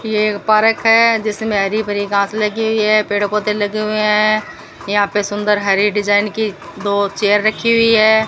ये एक पार्क है जिसमें हरी भरी घास लगी हुई है पेड़ पौधे लगे हुए हैं यहां पे सुंदर हरे डिजाइन के दो चेयर रखी हुई है।